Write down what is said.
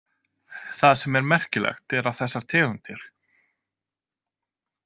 Það sem er merkilegt er að þessar tegundir.